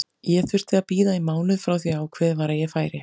Ég þurfti að bíða í mánuð frá því að ákveðið var að ég færi.